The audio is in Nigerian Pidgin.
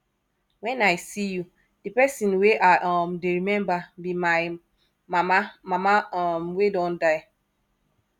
wen i see you di person wey i um dey remember be my mama mama um wey don die